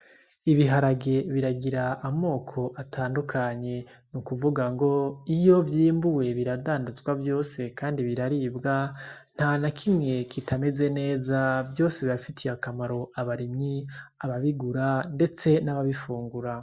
Ibiharage biragira amoko atandukanye, nukuvuga ngo iyo vyimbuwe biradandazwa vyose kandi biraribwa nta nakimwe kitameze neza vyose birafitiye akamaro abarimyi ababigura ndetse n'ababifungura.